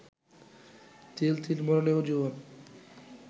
তিল তিল মরণেও জীবন